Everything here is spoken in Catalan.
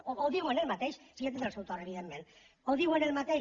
o diuen el mateix sí ja tindrà el seu torn evidentment o diuen el mateix